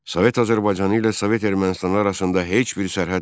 Sovet Azərbaycanı ilə Sovet Ermənistanı arasında heç bir sərhəd yoxdur.